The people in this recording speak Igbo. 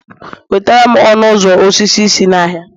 wetare'm ọnụ ụzọ osisi si n'ahịa